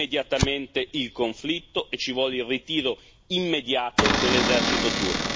Anche per loro deve terminare, immediatamente, il conflitto e ci vuole il ritiro immediato dell'esercito turco.